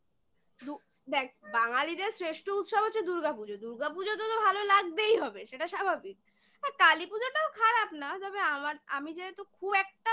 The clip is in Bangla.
দেখ বাঙালিদের শ্রেষ্ঠ উৎসব হচ্ছে দুর্গাপুজো । দুর্গাপুজোতে তো ভালো লাগতেই হবে সেটা স্বাভাবিক । আর কালীপুজোটাও খারাপ না তবে আমার আমি যেহেতু খুব একটা বাজি